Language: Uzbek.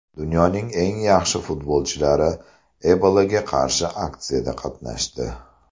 Dunyoning eng yaxshi futbolchilari Ebolaga qarshi aksiyada qatnashdi.